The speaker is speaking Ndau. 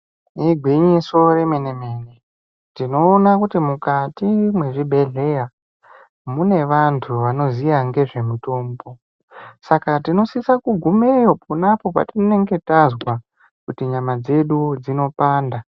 Igwinyiso remene-mene tinoona kuti mukati mwezvibhehleya mune vantu vanoziya ngezvemitombo saka tinosisa kugumeyo ponapo patinenge tazwa kuti nyama dzedu dzinopanda.